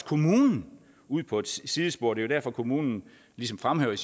kommunen ud på et sidespor det derfor kommunen ligesom fremhæver i